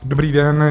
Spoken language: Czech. Dobrý den.